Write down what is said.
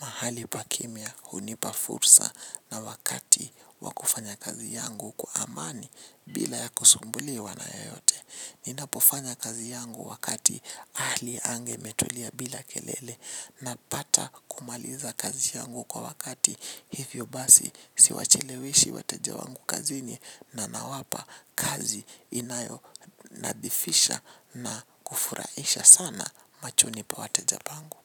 Mahali pa kimya hunipa fursa na wakati wakufanya kazi yangu kwa amani bila ya kusumbuliwa na yeyote. Ninapofanya kazi yangu wakati hali anga imetulia bila kelele na pata kumaliza kazi yangu kwa wakati. Hivyo basi siwachelewishi wateja wangu kazini na na wapa kazi inayo nadhifisha na kufurahisha sana machoni wateja pangu.